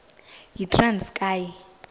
yitranskayi